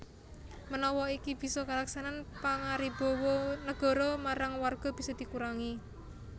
Menawa iki bisa kalaksanan pangaribawa Negara marang Warga bisa dikurangi